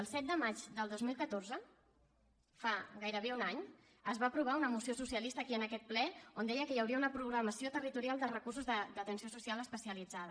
el set de maig del dos mil catorze fa gairebé un any es va aprovar una moció socialista aquí en aquest ple on deia que hi hauria una programació territorial de recursos d’atenció social especialitzada